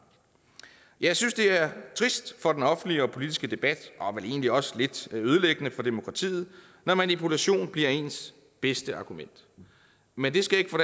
jeg synes det er trist for den offentlige og politiske debat og vel egentlig også lidt ødelæggende for demokratiet når manipulation bliver ens bedste argument men det skal ikke få